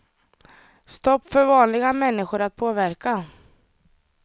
Stopp för vanliga människor att påverka.